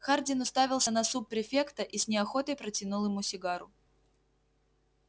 хардин уставился на суб-префекта и с неохотой протянул ему сигару